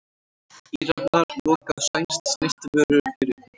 Íranar loka á sænskt snyrtivörufyrirtæki